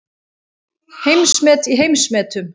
Heimsmet í heimsmetum